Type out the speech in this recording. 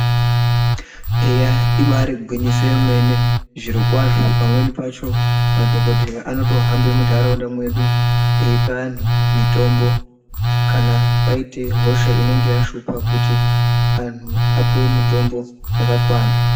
Eya ibarigwinyisi yemene zvirokwazvo pamweni pacho madhogodheya anotohambe munharaunda medu eipa antu mitombo. Kana paite hosha inengeya shupa kuti antu apiwe mutombo yakakwana.